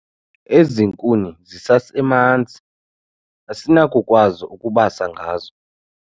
Ezi nkuni zisemanzi asinakukwazi ukubasa ngazo